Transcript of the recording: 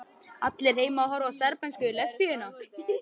Allir heima að horfa á serbnesku lesbíuna.